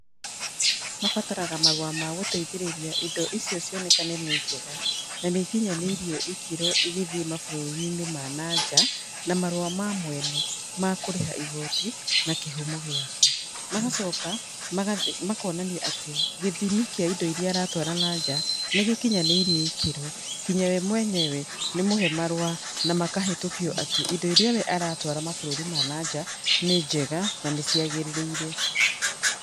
Mabataraga marũa ma gũteithĩrĩria indo icio cionekane nĩ njega, na nĩ ikinyanĩirie ikĩro igĩthiĩ mabũrũri-inĩ ma nanja, na marũa ma mwene ma kũrĩha igoti, na kĩhumo gĩake. Magacoka, magathiĩ makonania atĩ gĩthimi kĩa indo irĩa aratwara nanja, nĩ gĩkinyanĩirie ikĩro. Nginya we mwenyewe, nĩ mũhe marũa, na makahetũkio atĩ, indo irĩa we aratwara mabũrũri ma nanja, nĩ njega, na nĩ ciagĩrĩire.